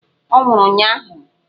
Ọ nwụrụ ụnyụahụ!